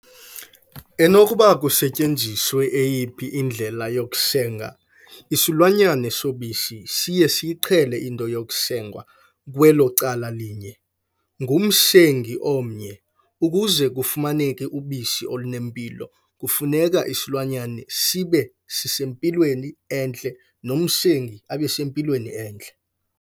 Enokuba kusetyenziswa eyiphi indlela yokusenga, isilwanyana sobisi, siye siyiqhele into yokusengwa kwelo cala linye, ngumsengi omnye. Ukuze kufumaneke ubisi olunempilo, kufuneka isilwanyana sibe sisempilweni entle nomsengi abese mpilweni entle.